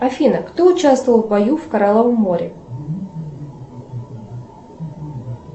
афина кто участвовал в бою в коралловом море